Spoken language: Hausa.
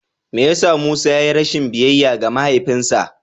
Me ya sa Musa ya yi rashin biyayya ga mahaifinsa?